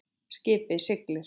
Skipið siglir.